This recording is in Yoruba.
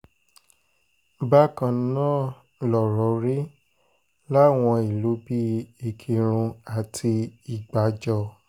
bákan náà lọ̀rọ̀ rí láwọn ìlú bíi ìkírùn àti ìgbàjọ